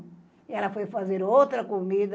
E ela foi fazer outra comida.